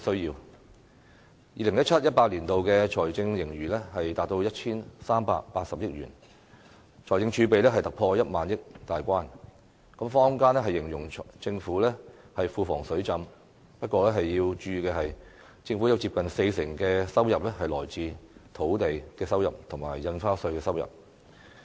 2017-2018 年度的財政盈餘達 1,380 億元，財政儲備突破1萬億元大關，坊間形容政府庫房"水浸"，不過要注意的是，政府有接近四成的收入是來自土地收益及印花稅。